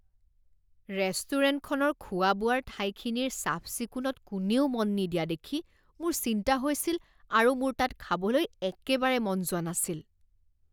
ৰেষ্টুৰেণ্টখনৰ খোৱা বোৱাৰ ঠাইখিনিৰ চাফ চিকুণত কোনেও মন নিদিয়া দেখি মোৰ চিন্তা হৈছিল আৰু মোৰ তাত খাবলৈ একেবাৰে মন যোৱা নাছিল।